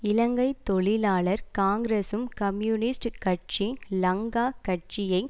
இலங்கை தொழிலாளர் காங்கிரசும் கம்யூனிஸ்டுக் கட்சி லங்கா கட்சியை